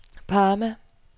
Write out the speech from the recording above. Parma